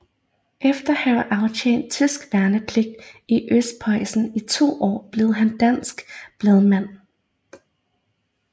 Efter at have aftjent tysk værnepligt i Østprøjsen i to år blev han dansk bladmand